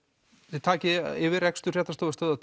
þið takið yfir rekstur Fréttastofu Stöðvar